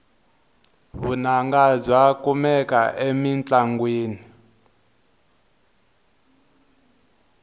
vunanga bya kumeka emintlongwini